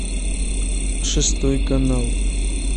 шестой канал